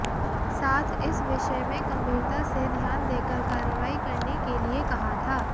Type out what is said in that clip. साथ इस विषयमें गंभीरता से ध्यान देकर कारवार्इ करने के लिए कहा था